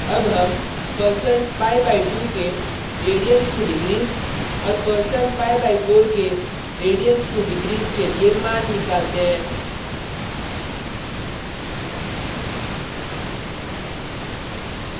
अब हम %pi/2 के radians2degrees और %pi/4 के radians2degrees के लिए मान निकालते हैं